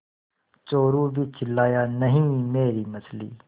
चोरु भी चिल्लाया नहींमेरी मछली